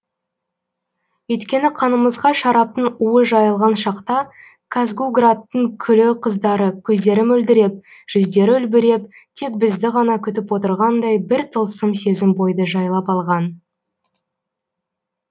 өйткені қанымызға шараптың уы жайылған шақта казгу градтың күллі қыздары көздері мөлдіреп жүздері үлбіреп тек бізді ғана күтіп отырғандай бір тылсым сезім бойды жайлап алған